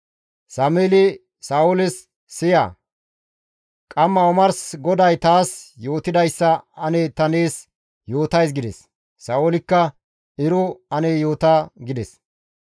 Sameeli Sa7ooles, «Siya; qamma omars GODAY taas yootidayssa ane ta nees yootays» gides. Sa7oolikka, «Ero ane yoota» gides.